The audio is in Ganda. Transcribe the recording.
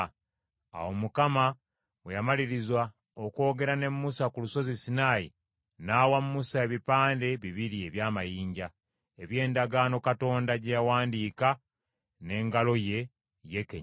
Awo Mukama bwe yamaliriza okwogera ne Musa ku lusozi Sinaayi, n’awa Musa ebipande bibiri eby’amayinja, eby’Endagaano Katonda gye yawandiika n’engalo ye, ye kennyini.